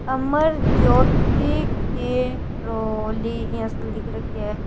अमर ज्योति के प्रोलि इया सो लिख रख्यो है।